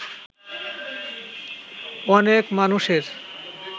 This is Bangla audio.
অনেক মানুষের